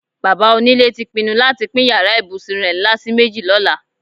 Bàbá onílé ti pinnu láti pín yàrá ìbùsùn rè̩ ńlá sí méjì ló̩la.